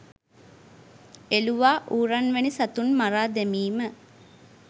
එළුවා ඌරන් වැනි සතුන් මරා දැමීම